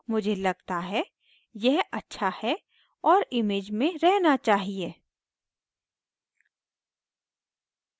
मुझे लगता है यह अच्छा है और image में रहना चाहिए